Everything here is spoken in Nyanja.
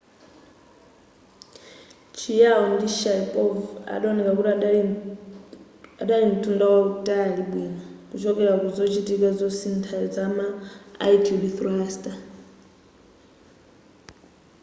chiao ndi sharipov adaoneka kuti adali mtunda wautali bwino kuchokera ku zochitika zosintha zama attitude thruster